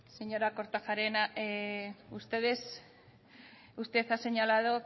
señora kortajarena usted ha señalado